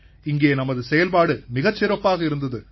இங்கே நமது செயல்பாடு மிகச் சிறப்பாக இருந்தது சார்